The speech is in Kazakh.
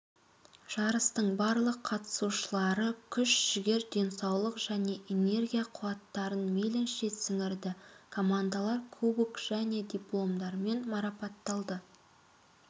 жарыстың барлық қатысушылары күш жігер денсаулық және энергия қуаттарын мейлінше сіңірді командалар кубок және дипломдармен марапатталды